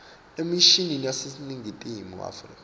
emishini yaseningizimu afrika